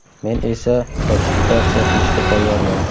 Men esa ratifikatsiya qilishga tayyorman.